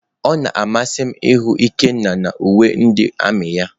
Ọ na-amasị m ịhụ Ikenna na uwe ndị armiị ya.